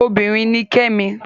Obinrin ni Kẹ́mi